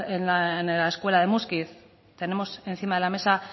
en la escuela de muskiz tenemos encima de la mesa